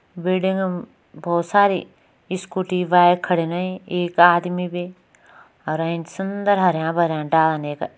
बिल्डिंगम बहोत सारी स्कूटी बाइक खड़ी रहीं एक आदमी भी अर सुन्दर हरयां भरयां डालान यखा।